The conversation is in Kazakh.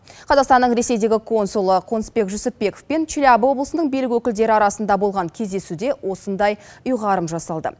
қазақстанның ресейдегі консулы қонысбек жүсіпбеков пен челябі облысының билік өкілдері арасында болған кездесуде осындай ұйғарым жасалды